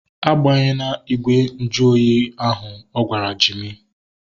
A gbahena igwe nju ahụ oyi ahu! Ọ gwara Jimi